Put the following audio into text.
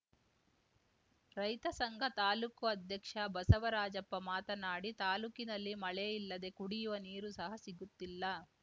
ರೈತ ಸಂಘ ತಾಲೂಕು ಅಧ್ಯಕ್ಷ ಬಸವರಾಜಪ್ಪ ಮಾತನಾಡಿ ತಾಲೂಕಿನಲ್ಲಿ ಮಳೆ ಇಲ್ಲದೇ ಕುಡಿಯುವ ನೀರು ಸಹ ಸಿಗುತ್ತಿಲ್ಲ